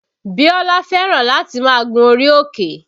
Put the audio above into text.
Bíólá fẹ́ràn láti máa gun orí òkè